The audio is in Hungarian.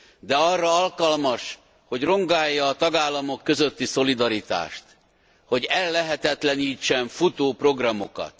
De arra alkalmas, hogy rongálja a tagállamok közötti szolidaritást, hogy ellehetetlenítsen futó programokat.